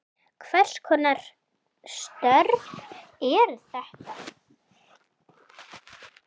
Hvers konar störf eru þetta?